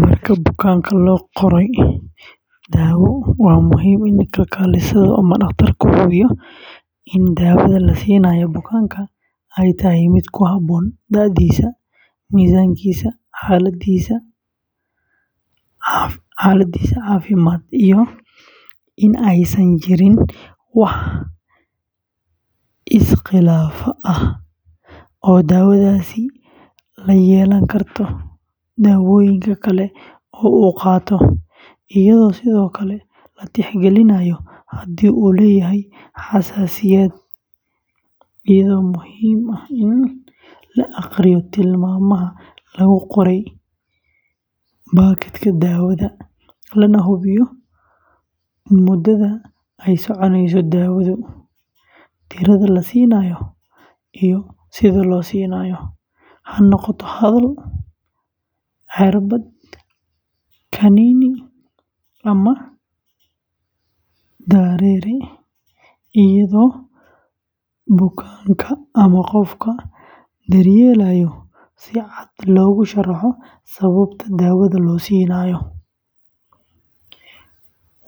Marka bukaanka loo qorayo daawo, waa muhiim in kalkaalisada ama dhakhtarku hubiyo in daawada la siinayo bukaanka ay tahay mid ku habboon da'diisa, miisaankiisa, xaaladdiisa caafimaad, iyo in aysan jirin wax iskhilaaf ah oo daawadaasi la yeelan karto daawooyin kale oo uu qaato, iyadoo sidoo kale la tixgelinayo haddii uu leeyahay xasaasiyad, iyadoo muhiim ah in la akhriyo tilmaamaha lagu qoray baakadka daawada, lana hubiyo muddada ay soconeyso daawadu, tirada la siinayo, iyo sida loo siinayo – ha noqoto hadal, cirbad, kaniini, ama dareere – iyadoo bukaanka ama qofka daryeelaayo si cad loogu sharxo sababta daawada loo siinayo,